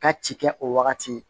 Ka ci kɛ o wagati